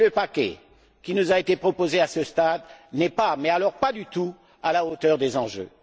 Or, le paquet qui nous a été proposé à ce stade n'est pas, mais alors pas du tout, à la hauteur des enjeux.